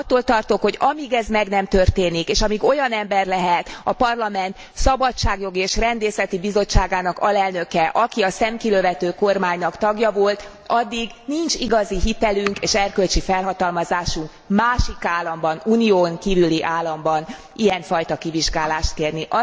Attól tartok, hogy amíg ez meg nem történik, és amíg olyan ember lehet a Parlament Szabadságjogi és Rendészeti Bizottságának alelnöke, aki a szemkilövető kormánynak tagja volt, addig nincs igazi hitelünk és erkölcsi felhatalmazásunk másik államban, Unión kívüli államban ilyenfajta kivizsgálást kérni.